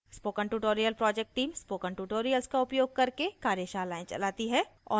spoken tutorial project team spoken tutorials का उपयोग करके कार्यशालाएं चलाती है